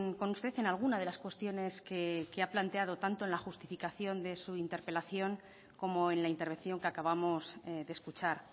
con usted en alguna de las cuestiones que ha planteado tanto en la justificación de su interpelación como en la intervención que acabamos de escuchar